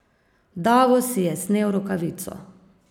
Davos si je snel rokavico.